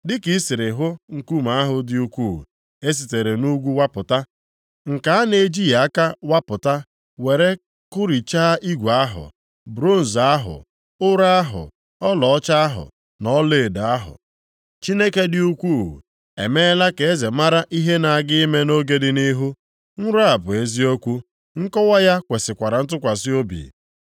Dịka i siri hụ nkume ahụ dị ukwuu e sitere nʼugwu wapụta, nke a na-ejighị aka wapụta were kụrichaa igwe ahụ, bronz ahụ, ụrọ ahụ, ọlaọcha ahụ na ọlaedo ahụ. “Chineke dị ukwuu emeela ka eze mara ihe na-aga ime nʼoge dị nʼihu. Nrọ a bụ eziokwu, nkọwa ya kwesikwara ntụkwasị obi.”